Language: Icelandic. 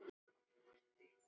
Starfið kom alltaf á eftir.